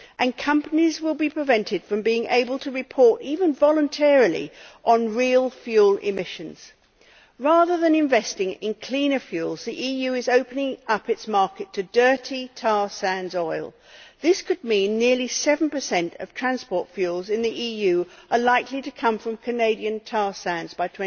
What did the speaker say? And companies will be prevented from being able to report, even voluntarily, on real fuel emissions. Rather than investing in cleaner fuels, the EU is opening up its market to dirty tar sands oil. This could mean nearly 7 of transport fuels in the EU are likely to come from Canadian tar sands by